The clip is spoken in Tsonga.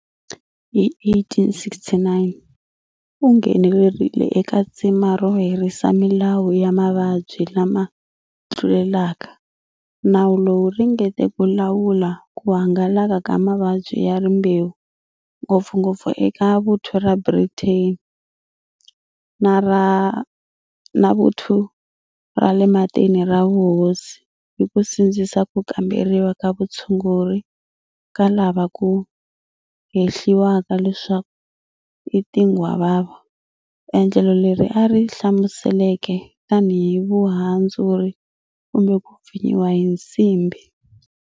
Hi 1869 u nghenelerile eka tsima ro herisa Milawu ya Mavabyi lama Tlulelaka, nawu lowu ringeteke ku lawula ku hangalaka ka mavabyi ya rimbewu-ngopfungopfu eka Vuthu ra Britain ni ra Vuthu ra le Matini ra Vuhosi-hi ku sindzisa ku kamberiwa ka vutshunguri ka lava ku hehliwaka leswaku i tinghwavava, endlelo leri a ri hlamuseleke tanihi vuhandzuri kumbe ku pfinyiwa hi nsimbi.